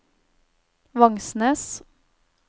Vangsnes